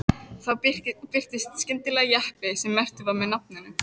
Þá birtist skyndilega jeppi sem merktur var með nafninu